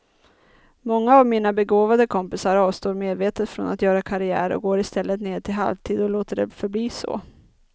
Många av mina begåvade kompisar avstår medvetet från att göra karriär och går istället ned till halvtid och låter det förbli så.